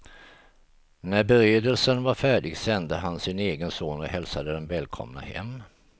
När beredelsen var färdig sände han sin egen son och hälsade dem välkomna hem.